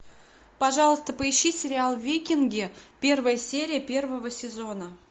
пожалуйста поищи сериал викинги первая серия первого сезона